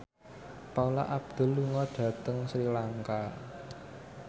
Paula Abdul lunga dhateng Sri Lanka